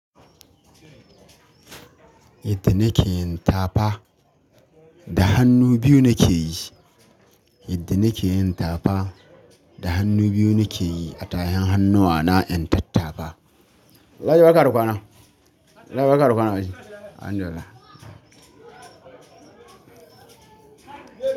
Yadda nike yin tafa da hannu biyu nike yi. Yadda nike yin tafa da hannu biyu nike yi a tahin hannuwana in tattafa. Ladi barka da kwana. Ladi barka da kwana. Alhamdulillah.